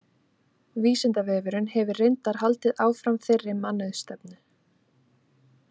Vísindavefurinn hefur reyndar haldið áfram þeirri mannauðsstefnu.